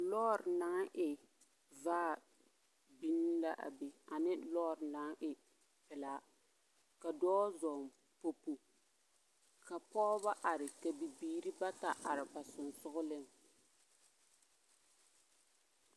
Lͻͻre naŋ e vaa biŋ la a be ane lͻͻre naŋ e pelaa. Ka dͻͻ zͻͻŋ popo ka pͻgebͻ are ka bibiiri bata are ba sensogeleŋ.